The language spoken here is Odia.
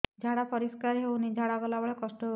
ଝାଡା ପରିସ୍କାର ହେଉନି ଝାଡ଼ା ଗଲା ବେଳେ କଷ୍ଟ ହେଉଚି